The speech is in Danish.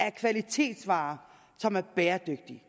af kvalitetsvarer som er bæredygtige